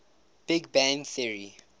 big bang theory